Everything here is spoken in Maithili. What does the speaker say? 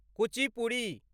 कुचिपुड़ी